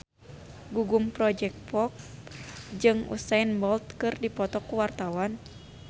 Gugum Project Pop jeung Usain Bolt keur dipoto ku wartawan